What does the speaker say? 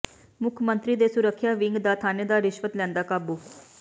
ਮੁੱਖ ਮੰਤਰੀ ਦੇ ਸੁਰੱਖਿਆ ਵਿੰਗ ਦਾ ਥਾਣੇਦਾਰ ਰਿਸ਼ਵਤ ਲੈਂਦਾ ਕਾਬੂ